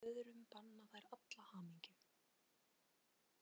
Öðrum banna þær alla hamingju.